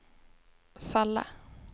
falla